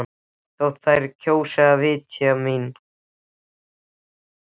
Þótt þær kjósi að vitja mín.